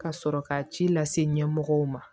Ka sɔrɔ ka ci lase ɲɛmɔgɔw ma